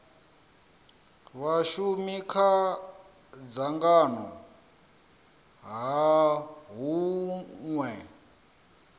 vhashumi kha dzangano ha hunwe